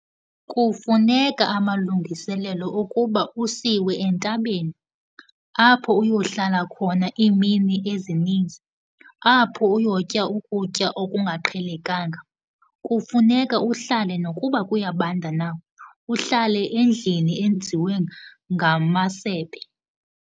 Kufuneka amalungiselelo okuba usiwe entabeni, apho uyohlala khona iimini ezinizi, apho uyotya ukutya okungaqhelekanga, kufuneka uhlale nokuba kuyabanda na, uhlale endlini enziwe ngamasebe.